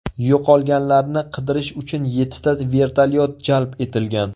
Yo‘qolganlarni qidirish uchun yettita vertolyot jalb etilgan.